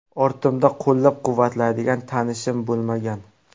Ortimda qo‘llab-quvvatlaydigan tanishim bo‘lmagan.